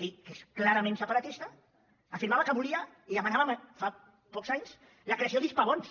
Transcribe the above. que és clarament separatista afirmava que volia i demanava fa pocs anys la creació d’hispabons